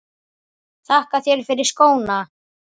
Þakka þér fyrir skóna.